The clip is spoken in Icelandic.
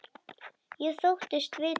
Ég þóttist vita það.